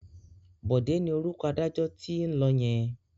Bọ̀dé ni orúkọ adájọ́ tó ń lọ yẹn.